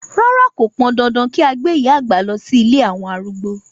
Rárá, kò pandandan kí a gbé ìyá àgbà lọ sí ilé àwọn arúgbó.